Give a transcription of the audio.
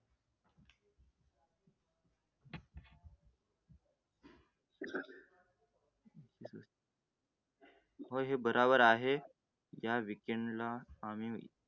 हो बरोबर आहे, या weekend ला आम्ही